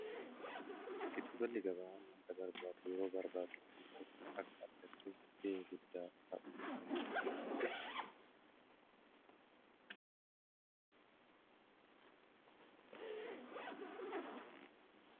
Gidduu galli gabaa faayidaa madaalamuu hin dandeenye fi bakka bu’iinsa hin qabne qaba. Jireenya guyyaa guyyaa keessatti ta’ee, karoora yeroo dheeraa milkeessuu keessatti gahee olaanaa taphata. Faayidaan isaa kallattii tokko qofaan osoo hin taane, karaalee garaa garaatiin ibsamuu danda'a.